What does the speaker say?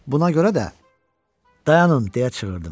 Buna görə də dayanın deyə çığırdım.